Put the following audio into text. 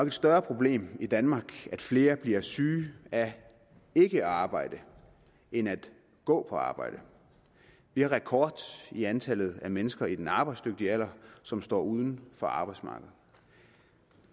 et større problem i danmark at flere bliver syge af ikke at arbejde end at gå på arbejde vi har rekord i antallet af mennesker i den arbejdsdygtige alder som står uden for arbejdsmarkedet